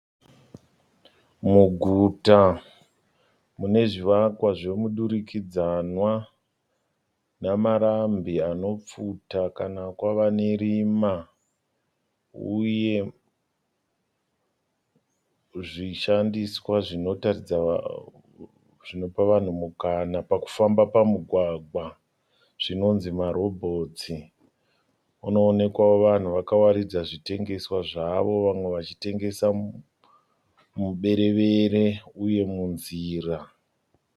Muguta mune zvivakwa zvomudurikidzwana, namarambi anopfuta kana kwava nerima uye zvishandiswa zvinotaridza vanhu zvinopa vanhu mukana pakufamba pamugwagwa zvinonzi marobhotsi. Munoonekwawo vanhu vakawaridza zvitengeswa zvavo vamwe vachitengesa muberevere uye munzira.